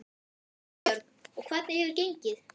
Erla Björg: Og hvernig hefur gengið?